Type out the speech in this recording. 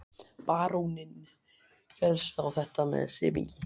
Baróninn féllst á þetta með semingi.